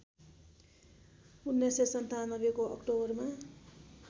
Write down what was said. १९९७ को अक्टोबरमा